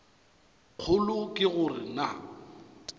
kgolo ke go re na